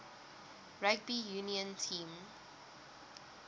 rugby union team